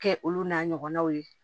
Kɛ olu n'a ɲɔgɔnnaw ye